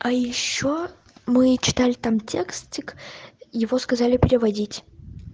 а ещё мы читали там текстик его сказали переводить